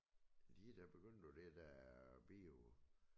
De da begyndt på det der bio